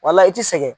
Wala i tɛ sɛgɛn